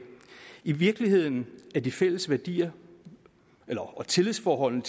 i virkeligheden er de fælles værdier og tillidsforholdene